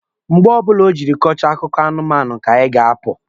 Mgbe ọbụla o jiri kọchaa akụkọ anụmanụ ka anyị ga-apụ.